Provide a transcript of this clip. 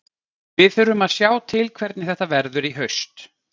Við þurfum að sjá til hvernig þetta verður í haust.